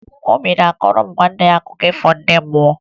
Obi a kọọrọ nwanne ya nwaanyị akụkọ ndị mmụọ?